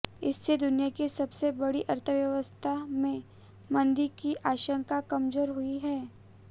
इससे दुनिया की सबसे बड़ी अर्थव्यवस्था में मंदी की आशंका कमजोर हुई है